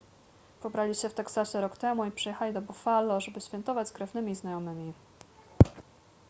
pobrali się w teksasie rok temu i przyjechali do buffalo żeby świętować z krewnymi i znajomymi